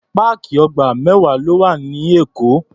Páàkì ọgbà mẹ́wàá ló wà ní Èkó.